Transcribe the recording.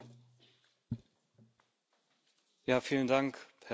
Herr Präsident, meine Damen und Herren!